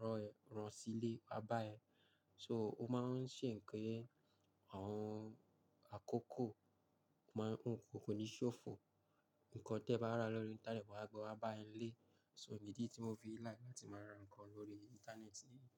rọ̀ ẹ, rán sí ilé, wá bá ẹ. So ó máa ń ṣe pé àwọn àkókò máà ń-- kò ní ṣófo. Ǹkan tẹ ba ra lórí Íńtánẹ́ẹ̀tì wọ́n á gbe wá bá ẹ ní ilé. So ìdí tí mo fi ń like láti máa ra ǹkan lórí Íńtánẹ́ẹ̀tì niyẹn.